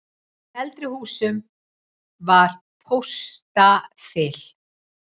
Í eldri húsum var póstaþil.